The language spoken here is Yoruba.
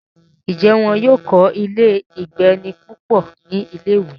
ǹjẹ́ wọ́n yóò kọ́ ilé -ìgbé-ẹni púpọ̀ ní ilé-ìwé?